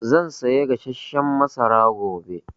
Zan saya gasasshen masara gobe